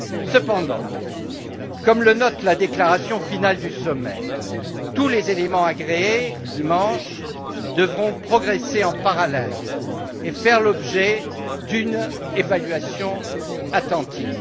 Cependant, comme le note la déclaration finale du sommet, tous les éléments agréés dimanche devront progresser en parallèle et faire l'objet d'une évaluation attentive.